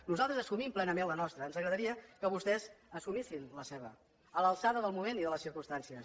nosaltres assumim plenament la nostra ens agradaria que vostès assumissin la seva a l’alçada del moment i de les circumstàncies